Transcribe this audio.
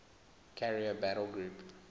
carrier battle group